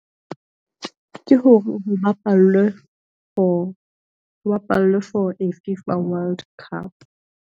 Ke hore ho bapallwe for a Fifa World Cup.